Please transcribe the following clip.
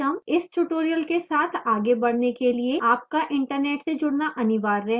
इस tutorial के साथ आगे बढ़ने के लिए आपका internet से जुड़ना अनिवार्य है